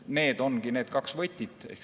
Need ongi need kaks võtit.